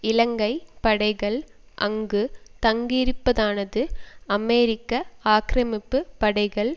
இலங்கை படைகள் அங்கு தங்கியிருப்பதானது அமெரிக்க ஆக்கிரமிப்பு படைகள்